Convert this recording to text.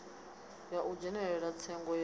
ya u dzhenela tsengo ya